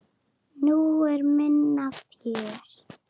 Nú var minna fjör.